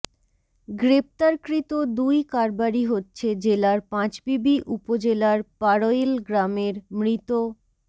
গ্রেপ্তারকৃত দুই কারবারি হচ্ছে জেলার পাঁচবিবি উপজেলার পাড়ইল গ্রামের মৃত